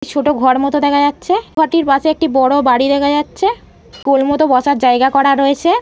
একটি ছোট ঘর মতো দেখা যাচ্ছে-এ। ঘরটির পাশে একটি বড় বাড়ি দেখা যাচ্ছে-এ। গোল মতো বসার জায়গা করা রয়েছে-এ।